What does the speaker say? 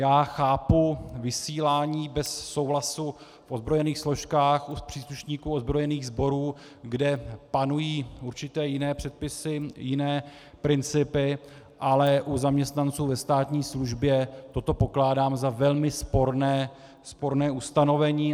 Já chápu vysílání bez souhlasu v ozbrojených složkách, u příslušníků ozbrojených sborů, kde panují určité jiné předpisy, jiné principy, ale u zaměstnanců ve státní službě toto pokládám za velmi sporné ustanovení.